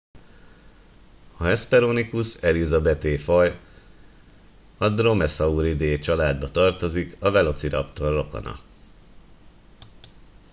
a hesperonychus elizabethae faj a dromaeosauridae családjába tartozik a velociraptor rokona